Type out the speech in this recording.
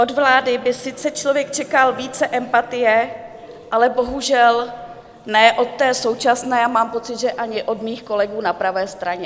Od vlády by sice člověk čekal více empatie, ale bohužel ne od té současné a mám pocit, že ani od mých kolegů na pravé straně.